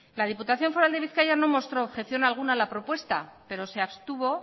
la diputación foral de bizkaia no mostró objeción alguna a la propuesta pero se abstuvo